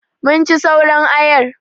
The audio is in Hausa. Mun ci sauran ayar.